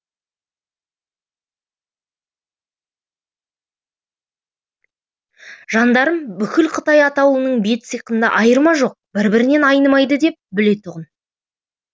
жандарм бүкіл қытай атаулының бет сиқында айырма жоқ бір бірінен айнымайды деп білетұғын